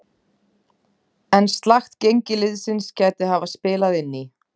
En slakt gengi liðsins gæti hafa spilað inn í.